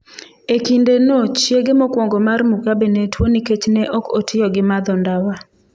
E kindeno chiege mokwongo mar Mugabe ne tuo nikech ne ok otiyo gi madho ndawa.